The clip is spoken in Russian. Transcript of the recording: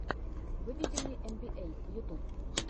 выведи мне эн би эй ютюб